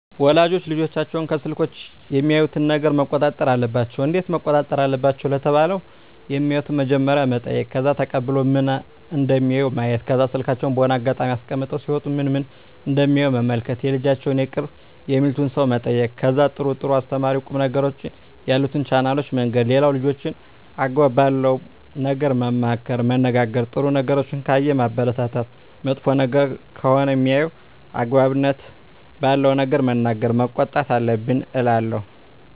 ወላጆች ልጆቻቸውን ከስልኮች የሚያዩትን ነገረ መቆጣጠር አለባቸው እንዴት መቆጣጠር አለባቸው ለተባለው የማዩትን በመጀመሪያ መጠይቅ ከዛ ተቀብሎ ምን ምን እደሚያዩ ማየት ከዛ ስልካቸውን በሆነ አጋጣሚ አስቀምጠው ሲወጡ ምን ምን እደሚያዩ መመልከት የልጆቻቸውን የቅርብ የሚሉትን ሰው መጠየቅ ከዛ ጥሩ ጥሩ አስተማሪ ቁም ነገሮችን ያሉትን ቻናሎችን መንገር ሌላው ልጆችን አግባብ ባለው ነገር መመካከር መነጋገር ጥሩ ነገሮችን ካየ ማበረታታት መጥፎ ነገር ከሆነ ሜያየው አግባብነት ባለው ነገር መናገር መቆጣት አለብን እላለው